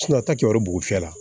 a ta kɛyɔrɔ bugun f'i la